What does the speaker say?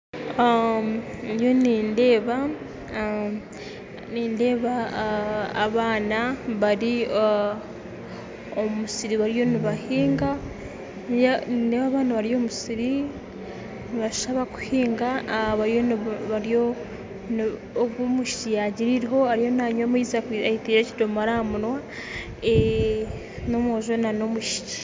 Ndiyo nindeeba nindeeba abaana bari omu musiri bariyo nibahiinga nindeeba abaana bari omu musiri nibashusha nk'abakuhinga bariyo ogu omwishiki yaagira eiriho ariyo nanywa amaizi ataire ekidomora aha munwa, n'omwojo n'omwishiki.